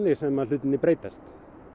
sem hlutirnir breytast